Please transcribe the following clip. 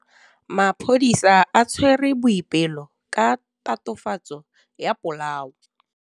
Maphodisa a tshwere Boipelo ka tatofatsô ya polaô.